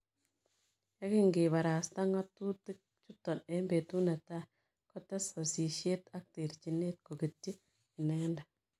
Yekingebarasta ngatutik chuton en betut ne tai kokites sasisiet ak terchinet' koketyi inendet